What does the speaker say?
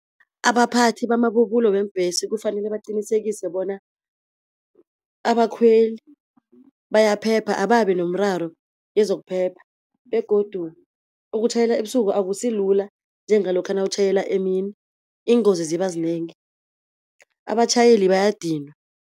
Abaphathi bamabubulo weembhesi kufanele baqinisekise bona abakhweli bayaphepha ababinomraro wezokuphepha, begodu ukutjhayela ebusuku akusilula njengalokha nawutjhayela emini, iingozi zibazinengi abatjhayeli bayadinwa.